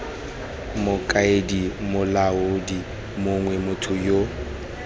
mokaedi molaodi mong motho yo